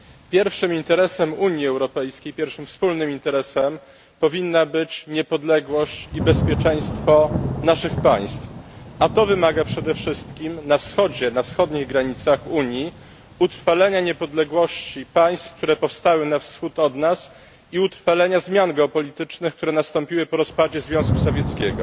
Pierwszym wspólnym interesem Unii Europejskiej powinny być niepodległość i bezpieczeństwo naszych państw, a to wymaga przede wszystkim na Wschodzie, na wschodnich granicach Unii utrwalenia niepodległości państw, które powstały na wschód od nas, i utrwalenia zmian geopolitycznych, które nastąpiły po rozpadzie Związku Sowieckiego.